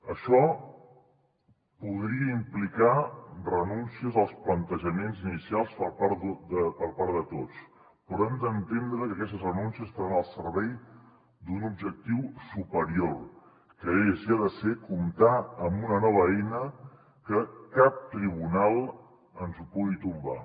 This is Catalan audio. això podria implicar renúncies als plantejaments inicials per part de tots però hem d’entendre que aquestes renúncies estaran al servei d’un objectiu superior que és i ha de ser comptar amb una nova eina que cap tribunal ens pugui tombar